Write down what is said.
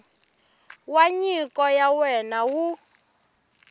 wa nyiko ya wena wu